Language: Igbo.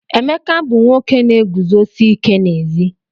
Emeka bu nwoke na-eguzosi ike n'ezi.